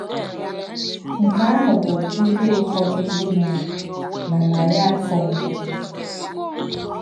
Nkè̄ àhụ̄ bụ íhè úfọ́dū ndí̄ mè̄ré̄ nà̄ nàrí̄ áfọ̀ mbụ́.